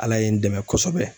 Ala ye n dɛmɛ kosɛbɛ